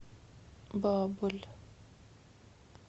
баболь